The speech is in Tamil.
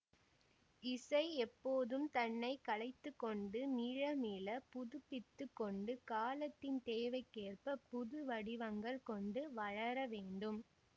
இசை எப்போதும் தன்னை கலைத்துக் கொண்டு மீள மீள புதுப்பித்துக் கொண்டு காலத்தின் தேவைக்கேற்பப் புதுவடிவங்கள் கொண்டு வளரவேண்டும்